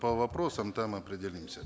по вопросам там определимся